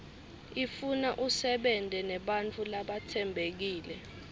ifuna usebente nebantfu labatsembekile